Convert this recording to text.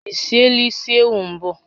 Ị siela isi ewu mbụ?